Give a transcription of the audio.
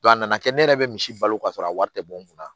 a nana kɛ ne yɛrɛ bɛ misi balo k'a sɔrɔ a wari tɛ bɔ n kunna